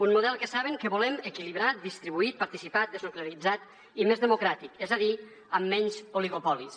un model que saben que el volem equilibrat distribuït participat desnuclearitzat i més democràtic es a dir amb menys oligopolis